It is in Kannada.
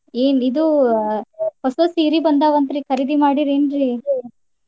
ಏ ಇದ್ ಹೊಸಾ ಸೀರಿ ಬಂದಾವಂತ್ರಿ ಕರೀದಿ ಮಾಡಿರ್ಯ್ಯಾನ್ರಿ?